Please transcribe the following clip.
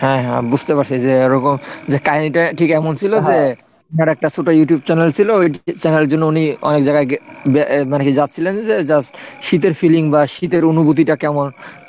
হ্যাঁ হ্যাঁ বুঝতে পারছি যে এরকম যে কাহিনীটা ঠিক এমন ছিল যে তার একটা ছোট YouTube channel ছিল ওই channel এর জন্য উনি অনেক জায়গায় গিয়ে মানে কি যাচ্ছিলেন যে just শীতের feeling বা শীতের অনুভূতিটা কেমন